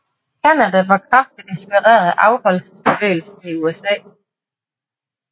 Canada var kraftigt inspireret af afholdsbevægelsen i USA